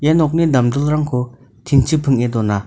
ia nokni damdilrangko tin-chi ping·e dona.